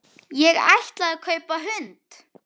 Ég ætlaði að kaupa hund.